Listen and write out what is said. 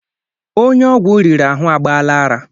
Onye ọgwụ riri ahụ agbaala ara.